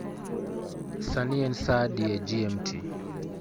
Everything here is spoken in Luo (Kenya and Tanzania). sani en saa adi e g. m. t.